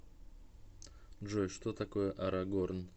джой что такое арагорн